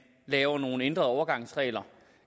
laver nogle ændrede overgangsregler